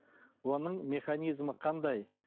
оның механизмі қандай